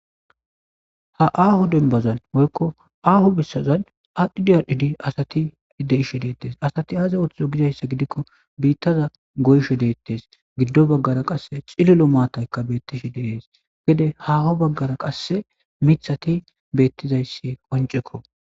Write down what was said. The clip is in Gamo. ha aaho denbazan woykko aaho bissazan adidiadhidi asati deishe deettes asati aaze oththizo gizayssa gidikko biittaza goysho deettes giddo baggara qasse cilolo maataykka beettishe deees gede haaho baggara qasse mithati beettizayssi qoncekko